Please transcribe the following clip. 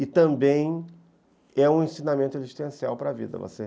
E também é um ensinamento existencial para a vida, você